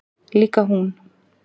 Líka hún.